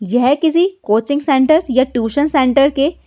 यह किसी coaching centre या ट्यूशन सेंटर के --